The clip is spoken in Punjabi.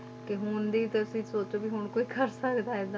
ਕਿ ਹੁਣ ਦੀ ਤੁਸੀਂ ਸੋਚੋ ਵੀ ਹੁਣ ਕੋਈ ਕਰ ਸਕਦਾ ਹੈ ਏਦਾਂ